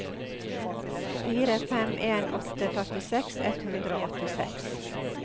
fire fem en åtte førtiseks ett hundre og åttiseks